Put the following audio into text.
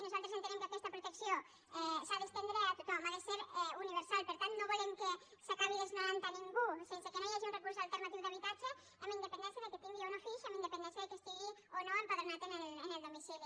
nosaltres entenem que aquesta protecció s’ha d’estendre a tothom ha de ser universal per tant no volem que s’acabi desnonant a ningú sense que no hi hagi un recurs alternatiu d’habitatge amb independència que tingui o no fills amb independència que estigui o no empadronat en el domicili